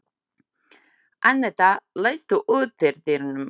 Annetta, læstu útidyrunum.